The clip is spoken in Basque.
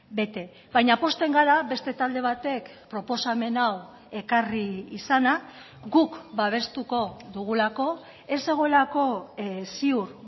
bete baina pozten gara beste talde batek proposamen hau ekarri izana guk babestuko dugulako ez zegoelako ziur